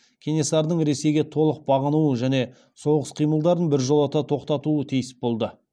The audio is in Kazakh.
кенесарының ресейге толық бағынуы және соғыс қимылдарын біржолата тоқтатуы тиіс болды